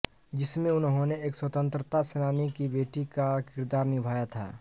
जिसमें उन्होने एक स्वतंत्रता सेनानी की बेटी का किरदार निभाया था